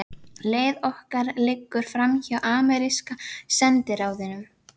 Leið okkar liggur framhjá ameríska sendiráðinu.